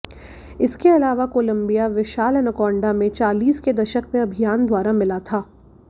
इसके अलावा कोलम्बिया विशाल एनाकोंडा में चालीस के दशक में अभियान द्वारा मिला था